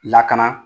Lakana